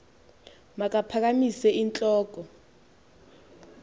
makaphakamise int loko